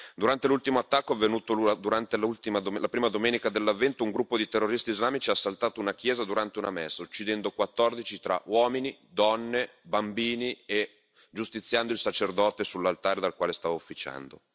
Durante l'ultimo attacco avvenuto la prima domenica dell'Avvento, un gruppo di terroristi islamici ha assaltato una chiesa durante una messa, uccidendo 14 tra uomini, donne, bambini e giustiziando il sacerdote sull'altare dal quale stava ufficiando.